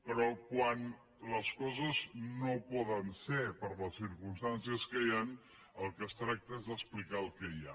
però quan les coses no poden ser per les circumstàncies que hi han del que es tracta és d’explicar el que hi ha